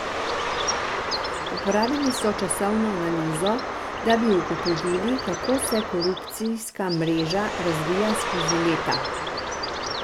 Uporabili so časovno analizo, da bi ugotovili, kako se korupcijska mreža razvija skozi leta.